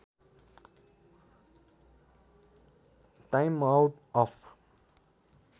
time out of